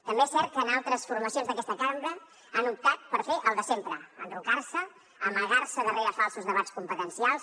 també és cert que altres formacions d’aquesta cambra han optat per fer el de sempre enrocar se amagar se darrere falsos debats competencials